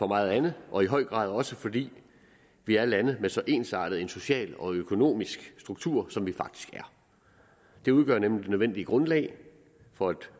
meget andet og i høj grad også fordi vi er lande med så ensartet en social og økonomisk struktur som vi faktisk er de udgør nemlig det nødvendige grundlag for et